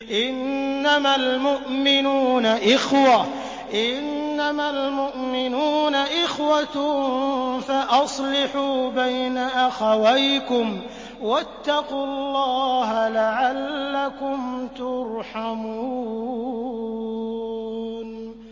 إِنَّمَا الْمُؤْمِنُونَ إِخْوَةٌ فَأَصْلِحُوا بَيْنَ أَخَوَيْكُمْ ۚ وَاتَّقُوا اللَّهَ لَعَلَّكُمْ تُرْحَمُونَ